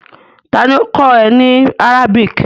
Ta ni ó kọ́ ẹ ní Arabic?